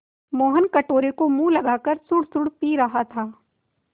मोहन कटोरे को मुँह लगाकर सुड़सुड़ पी रहा था